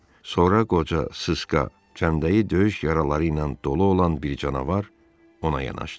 Sonra qoca, sıska, cəmdəyi döyüş yaraları ilə dolu olan bir canavar ona yanaşdı.